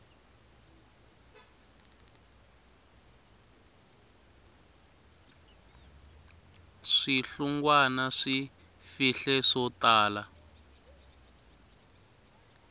swihlungwana swi fihle swo tala